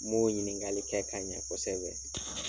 M'o u ɲininkali kɛ ka ɲɛ kosɛbɛ.